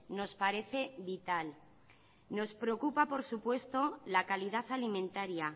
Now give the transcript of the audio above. nos parece vital nos preocupa por supuesto la calidad alimentaria